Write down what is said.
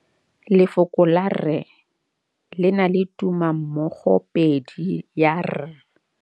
Lefoko la rre le na le tumammogôpedi ya, r.